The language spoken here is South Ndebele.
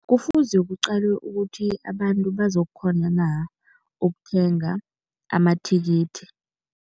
Kufuze kuqalwe ukuthi abantu bazakukghona na ukuthenga amathikithi.